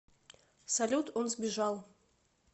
салют он сбежал